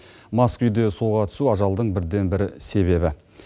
мас күйде суға түсу ажалдың бірден бір себебі